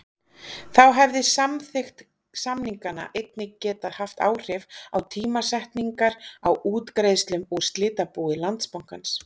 Þá hefði samþykkt samninganna einnig getað haft áhrif á tímasetningar á útgreiðslum úr slitabúi Landsbankans.